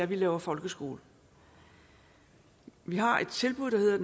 vi laver folkeskole vi har et tilbud der hedder